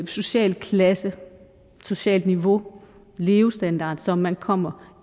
socialklasse socialt niveau levestandard som man kommer